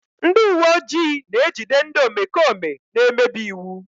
Ndị uwe ojii na-ejide ndị omekome na-emebi iwu.